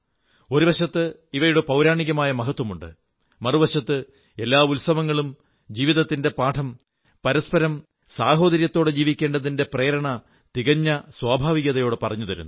ഒരു വശത്ത് ഇവയുടെ പൌരാണികമായ മഹത്വമുണ്ട് മറുവശത്ത് എല്ലാ ഉത്സവങ്ങളും ജീവിതത്തിന്റെ പാഠം പരസ്പരം സാഹോദര്യത്തോടെ ജീവിക്കേണ്ടതിന്റെ പ്രേരണ തികഞ്ഞ സ്വാഭാവികതയോടെ പറഞ്ഞു തരുന്നു